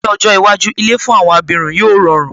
Ní ọjọ́ iwájú, ilé fún àwọn abirùn yóò rọrùn